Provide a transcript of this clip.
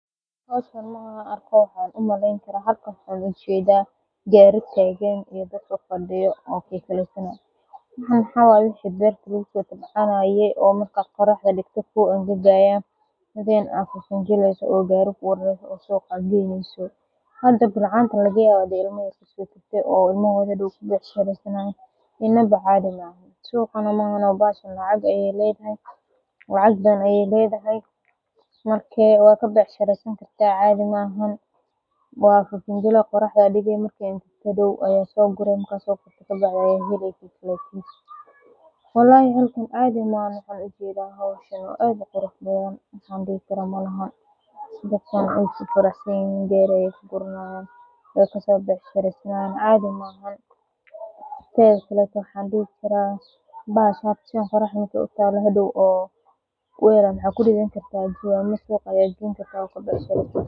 Halkan markan arko waxan ujeeda gari tagan, waxan maxaa waye wixi beerta lagaso bixinaye oo la angajinaye, bilcaantan laga yawa in ee ilmaahoda u becshireysanayan, waxa kuridhan kartaa wel ama jawan si aad oga bec shireysato.